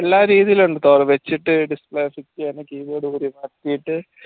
എല്ലാ രീതിയിലും ഉണ്ട് വെച്ചിട്ട് display switch keyboard